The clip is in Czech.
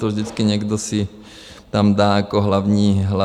To vždycky někdo si tam dá jako hlavní téma.